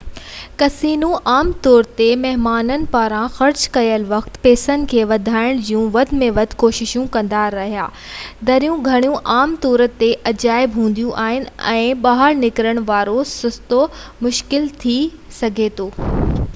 casino عام طور تي مهمانن پاران خرچ ڪيل وقت ۽ پئسن کي وڌائڻ جون وڌ ۾ وڌ ڪوششون ڪندا آهن دريون ۽ گھڙيون عام طور تي غائب هونديون آهن ۽ ٻاهر نڪرڻ وارو رستو مشڪل ٿي سگهي ٿو